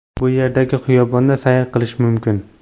Bu yerdagi xiyobonda sayr qilish mumkin.